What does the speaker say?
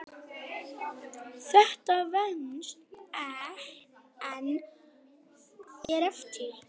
Þetta venst en er erfitt.